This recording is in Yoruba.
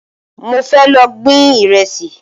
Mo fẹ́ lọ gbin Ìrẹ́sì